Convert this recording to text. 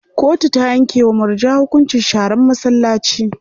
Kotu ta yanke wa murja hukuncin sharan masallaci.